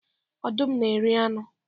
Ọdụm na eri anu